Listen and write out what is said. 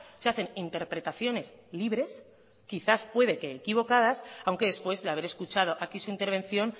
se hacen interpretaciones libres quizás puede que equivocadas aunque después de haber escuchado aquí su intervención